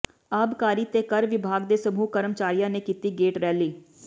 ਆਬਕਾਰੀ ਤੇ ਕਰ ਵਿਭਾਗ ਦੇ ਸਮੂਹ ਕਰਮਚਾਰੀਆਂ ਨੇ ਕੀਤੀ ਗੇਟ ਰੈਲੀ